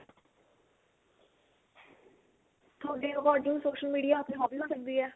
ਤੁਹਾਡੇ according social media ਆਪਣੀ hobby ਹੋ ਸਕਦੀ ਏ